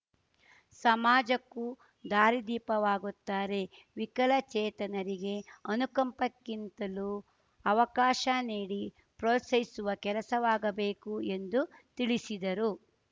ಸಮಾಜಕ್ಕೂ ದಾರಿ ದೀಪವಾಗುತ್ತಾರೆ ವಿಕಲಚೇತನರಿಗೆ ಅನುಕಂಪಕ್ಕಿಂತಲೂ ಅವಕಾಶ ನೀಡಿ ಪ್ರೋತ್ಸಾಹಿಸುವ ಕೆಲಸವಾಗಬೇಕು ಎಂದು ತಿಳಿಸಿದರು